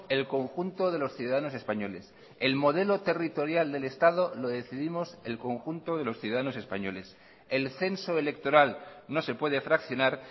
el conjunto de los ciudadanos españoles el modelo territorial del estado lo decidimos el conjunto de los ciudadanos españoles el censo electoral no se puede fraccionar